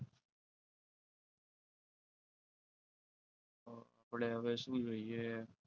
આપણે હવે શું જોઈએ?